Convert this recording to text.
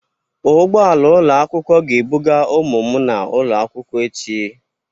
Ụgbọ ala ụlọ akwụkwọ ga-ebuga ụmụ m n'ụlọ akwụkwọ echi.